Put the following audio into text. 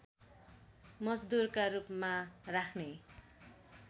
मजदुरका रूपमा राख्ने